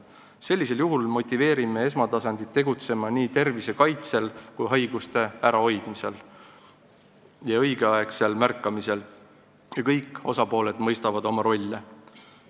Sellisel juhul motiveerime esmatasandit tegutsema nii tervise kaitsel kui ka haiguste ärahoidmisel ja õigeaegsel märkamisel ning kõik osapooled mõistavad oma rolli.